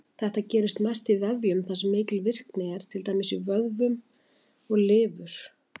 Þetta gerist mest í vefjum þar sem mikil virkni er, til dæmis vöðvum og lifur.